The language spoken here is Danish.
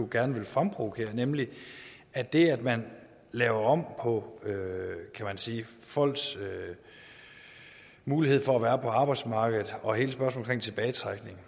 gerne vil fremprovokere nemlig af det at man laver om på folks mulighed for at være på arbejdsmarkedet og hele spørgsmålet om tilbagetrækning